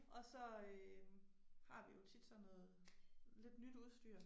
Og så øh har vi jo tit sådan noget lidt nyt udstyr